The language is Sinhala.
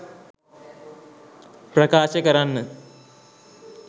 ප්‍රකාශ කරන්න.